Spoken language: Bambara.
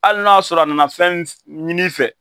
Hali n'a y'a sɔrɔ a nana fɛn ɲin'i fɛ